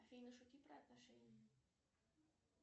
афина шути про отношения